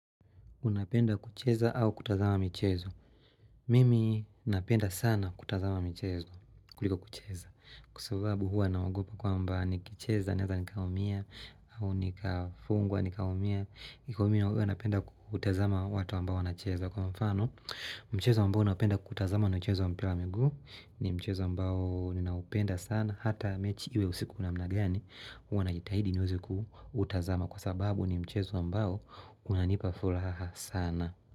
Unapenda kucheza au kutazama michezo. Mimi napenda sana kutazama michezo kuliko kucheza. Kusababu hua na nagopa kwa mbaa nikicheza, naeza nikaumia, au nikafungwa, nikaumia, nikaumia hua napenda kutazama watu ambao wanacheza. Kwa mfano mchezo ambao napenda kutazama na mchezo mpira wa miguu ni mchezo ambao ninaupenda sana Hata mechi iwe usiku namna gani huwa na jitahidi niwezi kutazama Kwa sababu ni mchezo ambao unanipa furaha sana.